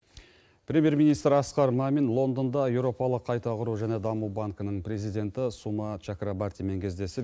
премьер министр асқар мамин лондонда еуропалық қайта құру және даму банкінің президенті сума чакробартимен кездесіп